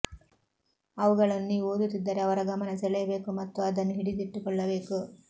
ಅವುಗಳನ್ನು ನೀವು ಓದುತ್ತಿದ್ದರೆ ಅವರ ಗಮನ ಸೆಳೆಯಬೇಕು ಮತ್ತು ಅದನ್ನು ಹಿಡಿದಿಟ್ಟುಕೊಳ್ಳಬೇಕು